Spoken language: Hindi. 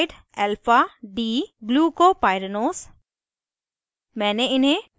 * saccharidealphad glucopyranose